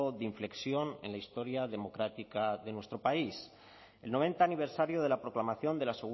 de inflexión en la historia democrática de nuestro país el noventa aniversario de la proclamación de la